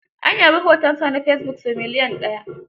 An yabi hotonsa na fesibuk sau milyan ɗaya.